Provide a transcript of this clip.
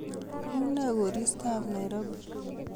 Unee koritob Nairobi?